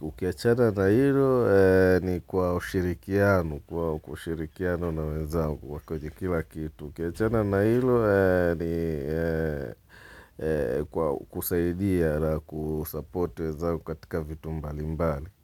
ukiwachana na hilo ni kwa ushirikiano, kwa ushirikiano na wenzao kwenye kila kitu. Ukiachana na hilo ni kusaidia la kusupport wenzao katika vitu mbali mbali.